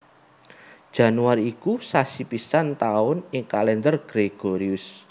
Januari iku sasi pisan taun ing Kalendher Gregorius